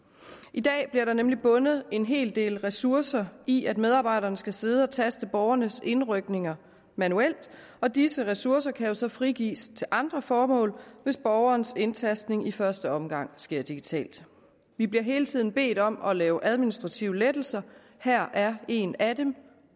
i dag bliver der nemlig bundet en hel del ressourcer i at medarbejderne skal sidde og taste borgernes indrykninger manuelt og disse ressourcer kan jo så frigives til andre formål hvis borgerens indtastning i første omgang sker digitalt vi bliver hele tiden bedt om at lave administrative lettelser her er en af dem